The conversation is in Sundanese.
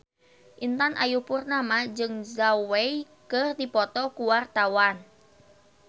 Intan Ayu Purnama jeung Zhao Wei keur dipoto ku wartawan